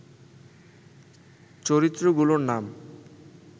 চরিত্রগুলোর নাম